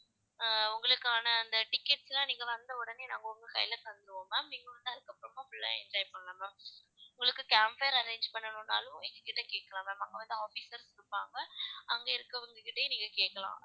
ஆஹ் உங்களுக்கான அந்த tickets லாம் நீங்க வந்தவுடனே நாங்க உங்க கையில தந்திடுவோம் ma'am நீங்க வந்ததுக்கப்புறமா full ஆ enjoy பண்ணலாம் ma'am உங்களுக்கு camp fire arrange பண்ணனும்னாலும் எங்க கிட்ட கேட்கலாம் ma'am அங்க வந்து officers இருப்பாங்க அங்கு இருக்கிறவங்க கிட்டயே நீங்க கேட்கலாம்